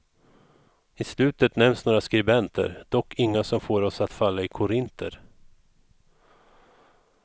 I slutet nämns några skribenter, dock inga som får oss att falla i korinter.